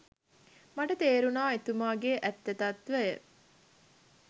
මට තේරුණා එතුමගෙ ඇත්ත තත්ත්වය.